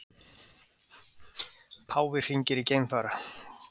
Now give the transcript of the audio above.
Páfi hringir í geimfara